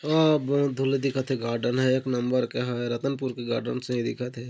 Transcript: ओ बहुत धुर ले दिखत हे गार्डेन ह एक नंबर के हावय रत्नपुर के गार्डन सही दिखत हे।